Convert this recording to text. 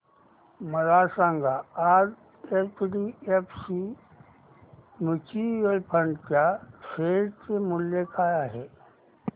मला सांगा आज एचडीएफसी म्यूचुअल फंड च्या शेअर चे मूल्य काय आहे